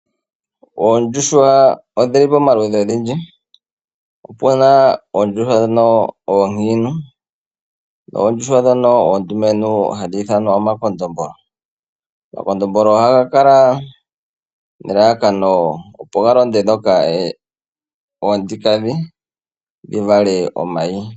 Oondjuhwa odhi li pomaludhi ogendji, opuna oondjuhwa ndhoka oonkiintu, noondjuhwa ndhoka ondumentu hadhi ithanwa omakondombolo. Omakondombolo ohaga kala nelalakano opo dhi londe oonkiintu opo dhi vale omayi.